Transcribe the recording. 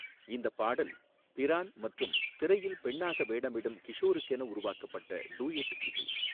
இந்தப் பாடல் பிரான் மற்றும் திரையில் பெண்ணாக வேடமிடும் கிஷோருக்கென உருவாக்கப்பட்ட டூயட் இது.